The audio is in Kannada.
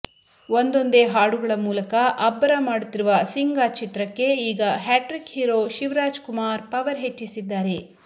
ಒಂದೊಂದೆ ಹಾಡುಗಳ ಮೂಲಕ ಅಬ್ಬರ ಮಾಡುತ್ತಿರುವ ಸಿಂಗ ಚಿತ್ರಕ್ಕೆ ಈಗ hattrick hero Shivaraj Kumar power ಹೆಚ್ಚಿಸಿದ್ದಾರೆ